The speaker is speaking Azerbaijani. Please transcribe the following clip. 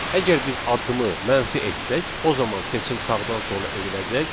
Əgər biz addımı mənfi etsək, o zaman seçim sağdan sola ediləcək.